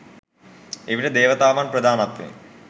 එවිට දේවතාවන් ප්‍රධානත්වයෙන්